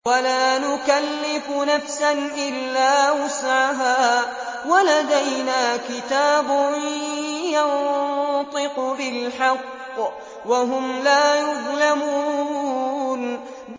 وَلَا نُكَلِّفُ نَفْسًا إِلَّا وُسْعَهَا ۖ وَلَدَيْنَا كِتَابٌ يَنطِقُ بِالْحَقِّ ۚ وَهُمْ لَا يُظْلَمُونَ